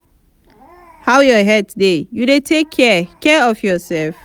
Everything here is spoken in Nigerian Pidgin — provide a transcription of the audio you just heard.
how your health dey you dey take care care of yourself?